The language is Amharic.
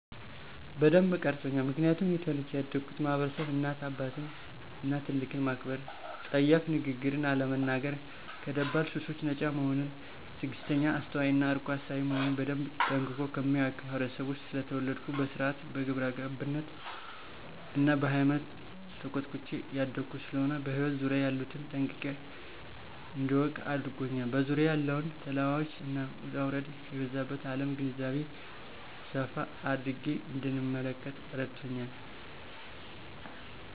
በደንብ ቀርጾኛል ምክንያቱም እኔ ተወልጀ ያደግሁበት ማህበረሰብ እናት አባትን እና ትልቅን ማክበር :ጸያፍ ንግግርን አለመናገር :ከደባል ሱሶች ነጻ መሆንን :ትግስተኛ :አስተዋይ እና አርቆ አሳቢ መሆንን በደንብ ጠንቅቆ ከሚያውቅ ህብረተሰብ ውስጥ ስለተወለድሁ በስርአት :በግብረገብነት እና በሃይማኖት ተኮትኩቸ ያደግሁ ስለሆነ በህይወት ዙሪያየ ያሉትን ጠንቅቄ እዳውቅ አድርጎኛል በዙሪያዋ ያለውን ተለዋዋጭ እና ውጣውረድ የበዛባት አለም ግንዛቤ ሰፋ አድርጌ እንድንመለከት እረድቶኛል።